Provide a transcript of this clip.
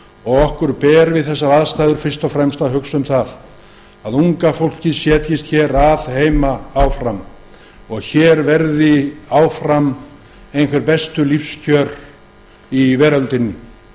undan okkur ber við þessar aðstæður fyrst og fremst að hugsa um að unga fólkið búi áfram á íslandi og að hér verði áfram einhver bestu lífskjör í veröldinni